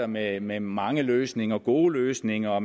med med mange løsninger mange gode løsninger og